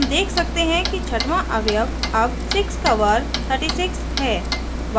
हम देखते हैं कि छठवां अवयव अब 6 का वर्ग 36 है